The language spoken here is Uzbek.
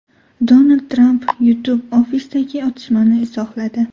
Donald Tramp YouTube ofisidagi otishmani izohladi.